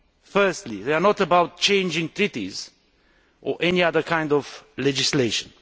Firstly, they are not about changing treaties or any other kind of legislation.